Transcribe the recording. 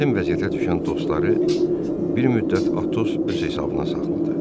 Çətin vəziyyətə düşən dostları bir müddət Atos öz hesabına saxladı.